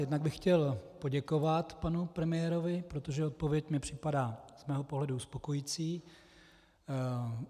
Jednak bych chtěl poděkovat panu premiérovi, protože odpověď mi připadá z mého pohledu uspokojující.